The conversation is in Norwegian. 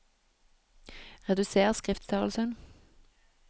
Reduser skriftstørrelsen